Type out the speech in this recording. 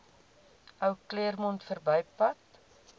ou claremont verbypad